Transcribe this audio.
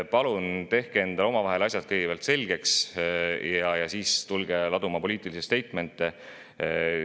Palun tehke kõigepealt omavahel asjad selgeks ja siis tulge laduma poliitilisi statement'e.